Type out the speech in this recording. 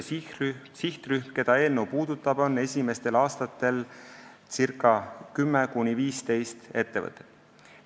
Sihtrühm, keda eelnõu puudutab, on esimestel aastatel circa 10–15 ettevõtet.